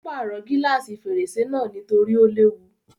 Ó pàrọ̀ gílàsì fèrèsé náà nítorí ó léwu.